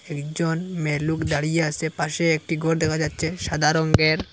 একজন মেয়েলোক দাঁড়িয়ে আসে পাশে একটি ঘর দেখা যাচ্ছে সাদা রঙ্গের ।